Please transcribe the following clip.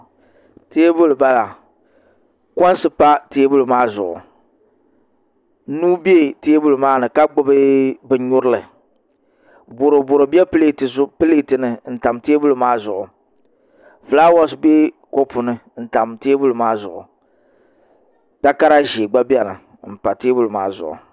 Teebuli n bala koinsi pa teebuli maa zuɣu nuu bɛ teebuli maa ni ka gbubi bin nyurili boroboro bɛ pileeti ni n tam teebuli maa zuɣu fulaawa bɛ kopu ni n tam teebuli maa zuɣu takara ʒiɛ gba biɛni n pa teenuli maa zuɣu